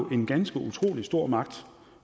en ganske utrolig stor magt